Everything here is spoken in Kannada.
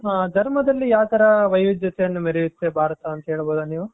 ಧರ್ಮದಲ್ಲಿ ಯಾವತರ ವೈವಿಧ್ಯತೆಯನ್ನು ಮೆರೆಯುತ್ತೆ ಭಾರತ ಅಂತ ಹೇಳಬಹುದಾ ನೀವು.